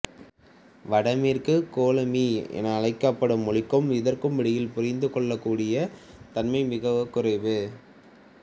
வடமேற்குக் கோலமி என அழைக்கப்படும் மொழிக்கும் இதற்கும் இடையில் புரிந்துகொள்ளக்கூடிய தன்மை மிகக் குறைவு